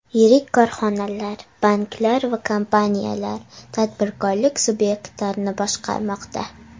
Yirik korxonalar, banklar va kompaniyalar, tadbirkorlik subyektlarini boshqarmoqda.